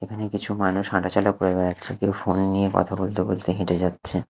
এখানে কিছু মানুষ হাঁটা চলা করে বেড়াচ্ছে কেউ ফোন নিয়ে কথা বলতে বলতে হেঁটে যাচ্ছে।